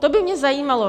To by mě zajímalo.